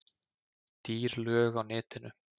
Dýr lög á netinu